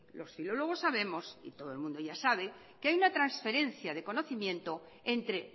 los filólogos sabemos y todo el mundo ya sabe que hay una transferencia de conocimiento entre